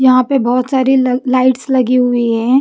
यहां पे बहुत सारी ल लाइट्स लगी हुई हैं।